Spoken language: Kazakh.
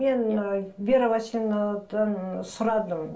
мен ііі вера васильевнадан сұрадым